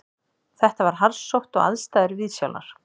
Þetta var harðsótt og aðstæður viðsjálar